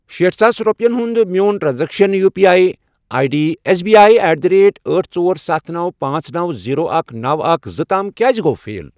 شیٹھ ساس رۄپِیَن ہُنٛد میون transaction U P I I D S B I at the rate أٹھ، ژور، ستھَ، نو، پانژھ، نوَ، زیٖرو، اکھ، نوَ، اکھَ، زٕ، تام کیٛازِ گوٚو فیل؟